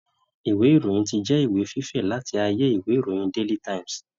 Ìwé Ìròyìn ti jẹ ìwé fífẹ̀ láti ayé ìwé ìròyìn Daily times